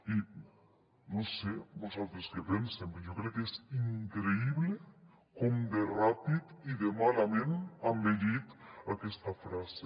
i no sé vostès què pensen però jo crec que és increïble com de ràpid i de malament ha envellit aquesta frase